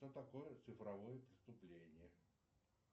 что такое цифровое преступление